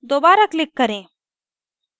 दोबारा click करें